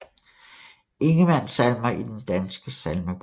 Ingemann Salmer i Den Danske Salmebog